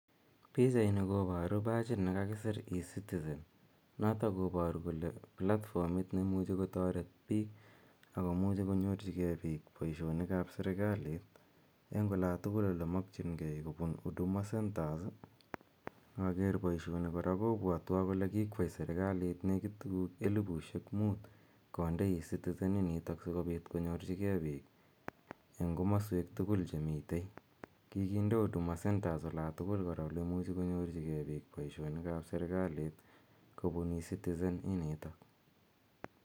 Pichaini koparu pachit ne kakisir ecitizen. Notok koparu kole platformit ne imuchi kotaret piik, ako muchi konyorchigei piik poishonik ap serikalit, eng' ola tugul ole makchin geii kopun huduma centers. Inaker poishoni kora kopwatwa kora kole kikwa serikaliit nekiit tuguul elipushek muut konde e citizen initok si kopit konyorchigei piik eng' komaswek tugul che mitei. Kikinde huduma centers kora ols tugul ole imuchi konuorchigei piik poishonik ap serikalit, kopun ecitizen initok.